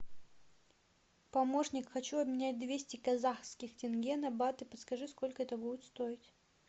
помощник хочу обменять двести казахских тенге на баты подскажи сколько это будет стоить